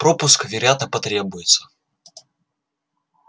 пропуск вероятно потребуется